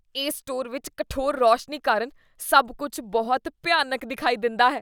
ਇਸ ਸਟੋਰ ਵਿੱਚ ਕਠੋਰ ਰੋਸ਼ਨੀ ਕਾਰਨ ਸਭ ਕੁੱਝ ਬਹੁਤ ਭਿਆਨਕ ਦਿਖਾਈ ਦਿੰਦਾ ਹੈ।